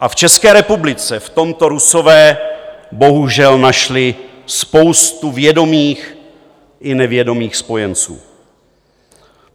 A v České republice v tomto Rusové bohužel našli spoustu vědomých i nevědomých spojenců.